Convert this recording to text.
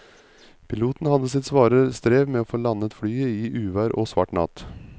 Piloten hadde sitt svare strev med å få landet flyet i uvær og svart natt.